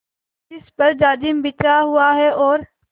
जिस पर जाजिम बिछा हुआ है और